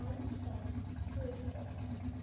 মানুষ দ্বারা তৈরি করা হয়,